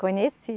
Conheci.